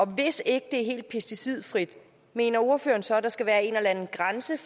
hvis ikke det er helt pesticidfrit mener ordføreren så at der skal være en eller anden grænse